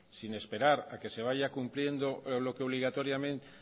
sin esperar que se vaya cumpliendo lo que obligatoriamente